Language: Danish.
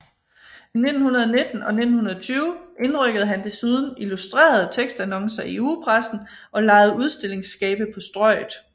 I 1919 og 1920 indrykkede han desuden illustrerede tekstannoncer i ugepressen og lejede udstillingsskabe på Strøget